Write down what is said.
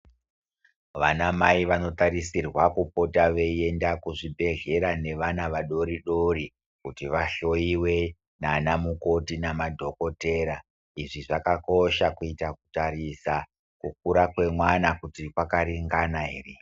Vanamai vanotarisirwa kupota veienda kuzvibhehlera nevana vadoridori kuti vahloyiwe nanamukoti nemadhokodhetera izvi zvakakosha kuita kutarisa kuti kukura kwemwana kwakaringana ere.